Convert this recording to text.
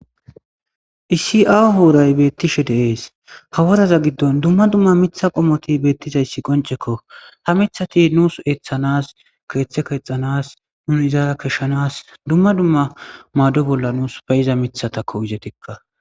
Isi7aa hooray beettishe deees hawazaza giddon dumma dumma mitha qomoti beettizayssi qoncekko ha mithati nuus eeththanas keeththe keexanas nuni zaara keshshanas dumma dumma maado bolla nuus payiza mitha takko izetikka.